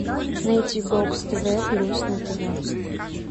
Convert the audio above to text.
найти бокс тв плюс на тв